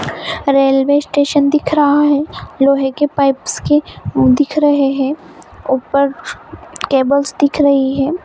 Railway station दिख रहा है लोहे के पाइप्स की दिख रहे है ऊपर केबल्स दिख रही है।